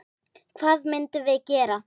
Hvað myndum við gera?